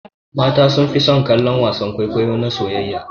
Mata sunfi son kallon wasan kwaikwayo na soyayya.